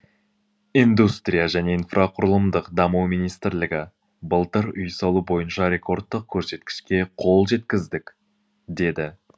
индустрия және инфрақұрылымдық даму министрлігі былтыр үй салу бойынша рекордтық көрсеткішке қол жеткіздік деді